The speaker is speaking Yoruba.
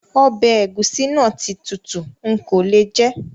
Ọbẹ egusi na ti tutu, nko le jè